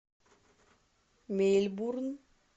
мельбурн